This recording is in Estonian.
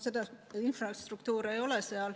Seda infrastruktuuri ei ole.